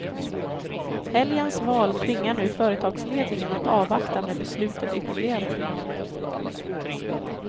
Helgens val tvingar nu företagsledningen att avvakta med beslutet ytterligare.